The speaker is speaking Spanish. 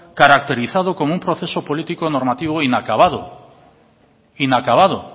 caracterizado como un proceso político normativo inacabado